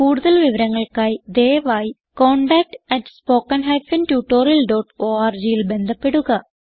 കുടുതൽ വിവരങ്ങൾക്കായി ദയവായി contactspoken tutorialorgൽ ബന്ധപ്പെടുക